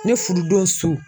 Ne fududon su.